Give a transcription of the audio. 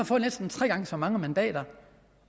fået næsten tre gange så mange mandater